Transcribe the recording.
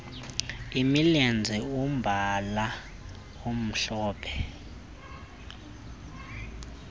imilenze umbala omhlophe